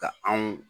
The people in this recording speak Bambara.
Ka anw